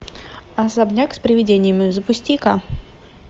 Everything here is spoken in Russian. особняк с приведениями запусти ка